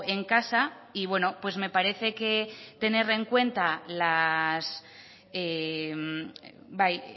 en casa y bueno pues me parece que tener en cuenta las bai